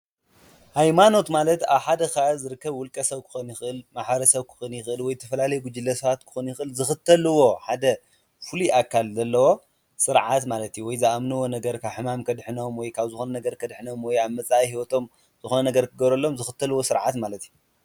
ሃይማኖት ማለት ኣብ ሓደ ኸባቢ ዝርከብ ውልቀ ሰብ ክኾን ይኽእል ማሐበረ ሰብ ክኾን የኽእል ወይ ተፈላለኣየ ጕጅለ ሰባት ክኾን የኽእል ዝኽተልዎ ሓደ ፍሉይ ኣካል ዘለዎ ስርዓት ማለት እዩ፡፡ ወይ ዝኣምንዎ ነገር ካብ ሕማም ከድሕኖም ወይ ካብ ዝኾነ ነገር ከድሕኖም ወይ ኣብ መጻኢ ሕይወቶም ዝኾነ ነገር ክገረሎም ዘኽተልዎ ሥርዓት ማለት እዩ፡፡